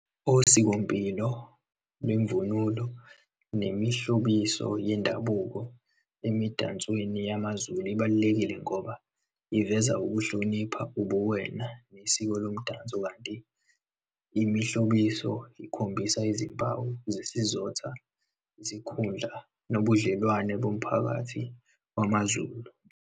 Osikompilo bemvunulo nemihlobiso yendabuko, emidansweni yamaZulu, ibalulekile ngoba iveza ukuhlonipha, ubuwena, nesiko lomdanso, kanti imihlobiso, ikhombisa izimpawu zesizotha, isinkhundla nobudlelwane bomphakathi wamaZulu.